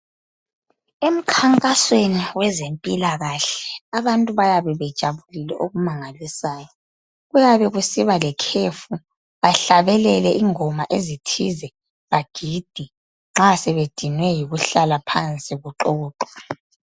Emkhankasweni wezempilakahle abantu bayabe bejabulile okumangalisayo. Kuyabe kusiba lekhefu bahlabelele ingoma ezithize bagide nxa sebedinwe yikuhlala phansi kuxoxwa.